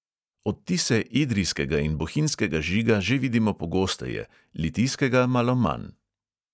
Odtise idrijskega in bohinjskega žiga že vidimo pogosteje, litijskega malo manj.